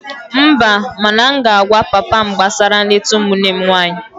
Mba, mana m ga-agwa papa m gbasara nleta ụmụnne m nwanyị